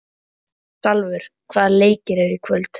Salvör, hvaða leikir eru í kvöld?